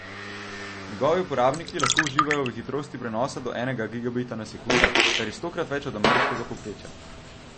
Njegovi uporabniki lahko uživajo v hitrostih prenosa do enega gigabita na sekundo, kar je kar stokrat več od ameriškega povprečja.